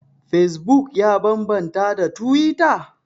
Fesbuk ya bambanta da tuwita?